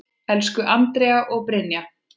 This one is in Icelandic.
Elsku Andrea og Brynja.